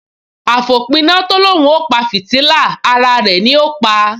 Àfòpiná tó l’óun ó pa fìtílà, ara rẹ̀ ni ó pa